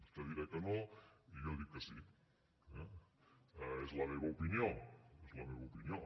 vostè dirà que no i jo dic que sí eh és la meva opinió és la meva opinió